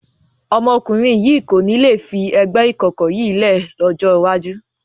Ọmọkùnrin yìí kò ní le fi ẹgbẹ́ ìkọ̀kọ̀ yìí lẹ́ ẹ̀ lọ́jọ́ iwájú.